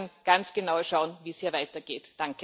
Wir werden ganz genau schauen, wie es hier weitergeht.